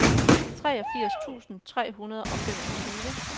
treogfirs tusind tre hundrede og femogtyve